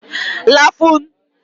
lafun